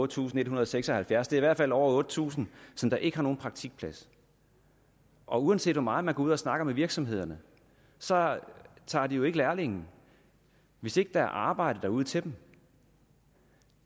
tusind en hundrede og seks og halvfjerds det er i hvert fald over otte tusind der ikke har nogen praktikplads og uanset hvor meget man går ud og snakker med virksomhederne så tager de jo ikke lærlinge hvis ikke der er arbejde derude til dem